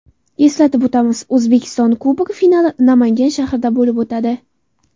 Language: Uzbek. Eslatib o‘tamiz, O‘zbekiston Kubogi finali Namangan shahrida bo‘lib o‘tadi.